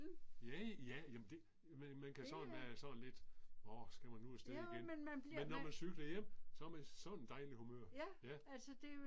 Ja ja jamen det man kan sådan være sådan lidt årh skal man nu afsted igen, men når man cykler hjem, så er man i sådan et dejligt humør. Ja